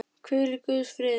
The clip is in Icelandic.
Hvíl í guðs friði.